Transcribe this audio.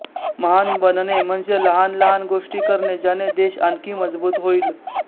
महान बनणे म्हणजे लहान लहान गोष्टी करणे ज्याने देश आणखी मजबूत होईल